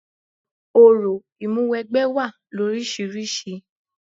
Orò ìmúwẹgbẹ́ wá loríṣiríṣi.